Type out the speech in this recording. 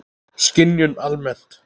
Skynjun almennt